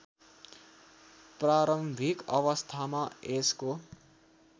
प्रारम्भिक अवस्थामा यसको